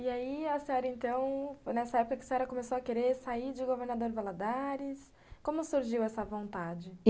E aí, a senhora, então, nessa época que a senhora começou a querer sair de governador Valadares, como surgiu essa vontade?